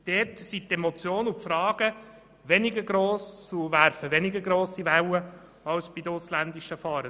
Dort sind die Emotionen und Fragen weniger gross und sie werfen weniger hohe Wellen als bei den ausländischen Fahrenden.